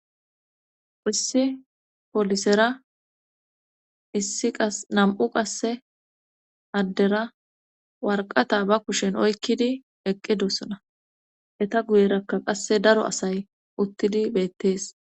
issi polisera issi qas nam7u qasse addera warqata ba kushen oykkidi eqqidosona eta guyerakka qasse daro asay uttidi beettees.